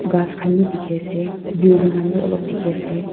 ghas khan bi dikhi ase building khan bi olop dikhi ase.